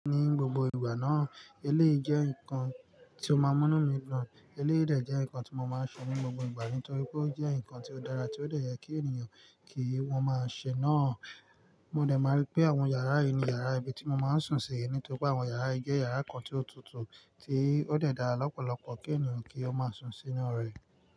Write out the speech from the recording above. Ní gbogbo ìgbà náà, eléyìí jẹ́ nǹkan tí ó máa ń múnú mi dun, eléyii dè jẹ́ nǹkan tí mo máa ń sùn ní gbogbo ìgbà nítorí pé ó jẹ́ nǹkan tí ó dára tí ó dẹ̀ yẹ kí ènìyàn kí wọ́n máa ṣe náà. Mo dẹ̀ máa rí pé àwọn yàrá yìí ni yàrá ibi tí mo máa ń sùn sí nítorí pé àwọn yàrá yìí jẹ́ yàrá kan tí ó tutù tí ó dẹ̀ dára lọ́pọ̀lọpọ̀ kí ènìyàn kí ó máa sùn sínú rẹ̀.